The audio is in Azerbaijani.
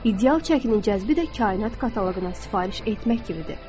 İdeal çəkinin cəlbi də kainat kataloquna sifariş etmək kimidir.